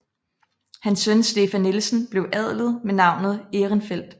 Hans søn Stefan Nielsen bliver adlet med navnet Ehrenfeldt